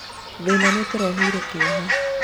thĩna nĩũtũreheire kĩeha